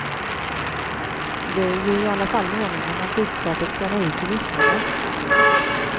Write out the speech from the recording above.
Det är ju i alla fall meningen att budskapet skall nå ut till lyssnarna.